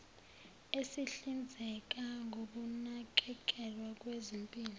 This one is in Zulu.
esihlinzeka ngokunakekelwa kwezempilo